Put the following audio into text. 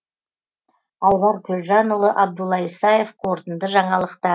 айбар төлжанұлы абдулла исаев қорытынды жаңалықта